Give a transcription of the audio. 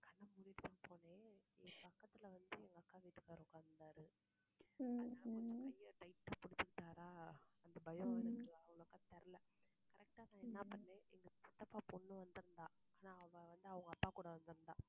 கண்ண மூடிடுத்தான் போனேன் என் பக்கத்துல வந்து, எங்க அக்கா வீட்டுக்காரர் உட்கார்ந்திருந்தாரு. அதனால என் கைய tight ஆ புடிச்சுகிட்டாரா அந்த பயம் எனக்கு அவ்ளோக்கா தெரியலை correct ஆ நான் என்ன பண்ணேன் எங்க சித்தப்பா பொண்ணு வந்திருந்தா ஆனா அவ வந்து அவங்க அப்பா கூட வந்திருந்தா